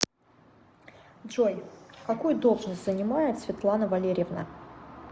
джой какую должность занимает светлана валерьевна